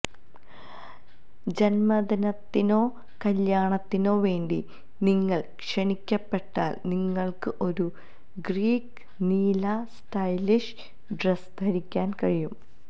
ജന്മദിനത്തിനോ കല്യാണത്തിനോ വേണ്ടി നിങ്ങൾ ക്ഷണിക്കപ്പെട്ടാൽ നിങ്ങൾക്ക് ഒരു ഗ്രീക്ക് നീല സ്റ്റൈലിഷ് ഡ്രസ് ധരിക്കാൻ കഴിയും